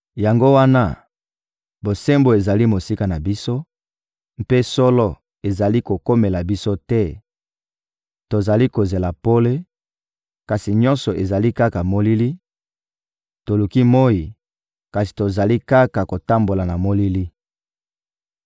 Yango wana bosembo ezali mosika na biso, mpe solo ezali kokomela biso te; tozali kozela pole, kasi nyonso ezali kaka molili; toluki moyi, kasi tozali kaka kotambola na molili.